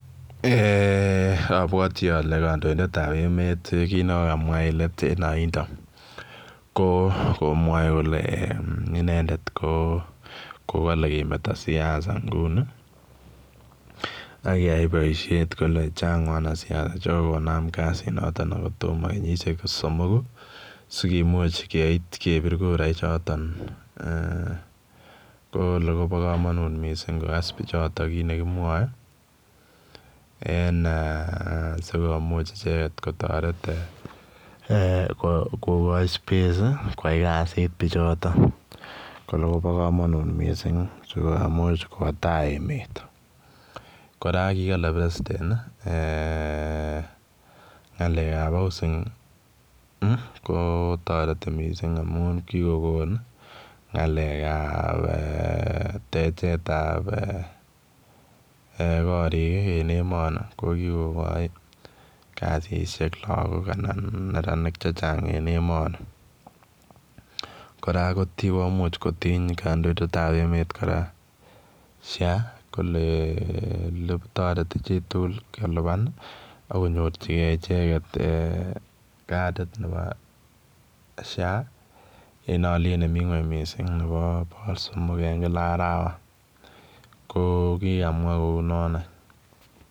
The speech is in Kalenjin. Eeh abwatii ale kandoindet ab emet kiit nekokamwaah en aindaa ko komwae kole inendet ko ko kale kemeta siasa nguni ak keyai boisiet kole chaang wanasiasa chekokonam kasiit notoon kotomah kenyisiek somokuu sikomuuch keit kebiir kura chotoon eeh kole Kobo kamanut missing kogas biik chotoon kit nekimwae en eeh sikomuuch ichegeet kotaret eeh kokai [space] ii koyai kaziit bichotoo kole koba kamanut missing sikowa tai emet kora kole [president] eeh ngalek ab [housing] ko taretii missing amuun kikogoon ngalek ab eeh techeet ab koriig en emani ko kikooon kasisiek lagook anan neranik che chaang en emanii kora komuuch kotiiny kandoindet ab emet kora [social health insurance] kole eeh taretii chii tugul kolupaan akonyoorjigei ichegeet katit nebo [social health authority] en aliet nemii kweeny mising nebo bogol somok eh kila arawa ko kikamwa kou noonaany.